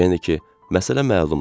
Yəni ki, məsələ məlumdur.